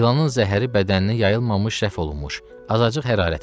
İlanın zəhəri bədəninə yayılmamış rəf olunmuş, azacıq hərarəti var.